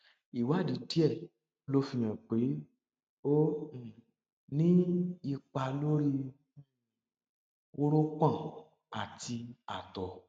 ìwádìí díẹ ló fihàn pé ó um ní ipa lórí um wórópọn àti àtọ